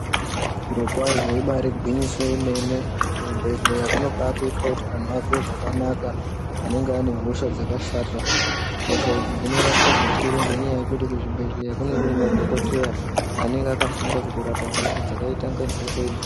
Zvirokwazvo ibaari gwinyiso yemene. Kuzvibhehleya kunobaatoitwa kuti antu vazwe zvakanaka, anenge ane hosha dzakasarira. Hosha idzi dzinorapwa zvikuru ngenyaya yekuti kuzvibhehleya kunee kune madhokodheya anenge akafunda kutorapa hosha dzakaita inga idzo.